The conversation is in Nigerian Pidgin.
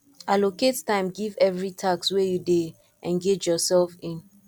allocate time give every task wey you dey engage yourself in